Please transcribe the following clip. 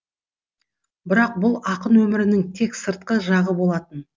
бірақ бұл ақын өмірінің тек сыртқы жағы болатын